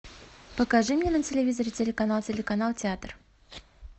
покажи мне на телевизоре телеканал телеканал театр